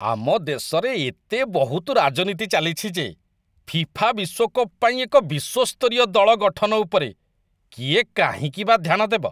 ଆମ ଦେଶରେ ଏତେ ବହୁତ ରାଜନୀତି ଚାଲିଛି ଯେ ଫିଫା ବିଶ୍ୱକପ୍ ପାଇଁ ଏକ ବିଶ୍ୱସ୍ତରୀୟ ଦଳ ଗଠନ ଉପରେ କିଏ କାହିଁକି ବା ଧ୍ୟାନ ଦେବ।